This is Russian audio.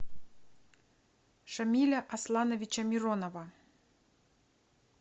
шамиля аслановича миронова